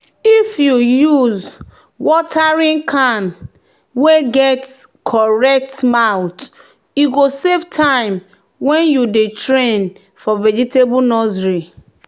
"if you use watering can wey get correct mouth e go save time when you dey train for vegetable nursery."